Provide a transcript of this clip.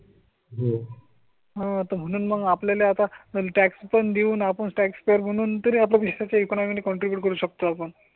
हो. हात म्हणून मग आपल्या ला आता टॅक्सी पण घेऊन आपण टॅक्स पेअर म्हणून तरी आपण देशाच्या इकॉनॉमि कॉन्ट्रिब्यूट करू शकतो आपण.